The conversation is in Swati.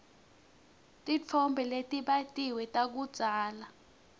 titfombe letibatiwe takudzala